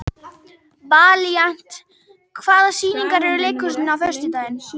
Valíant, hvaða sýningar eru í leikhúsinu á föstudaginn?